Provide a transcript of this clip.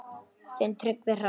Þinn Tryggvi Hrafn.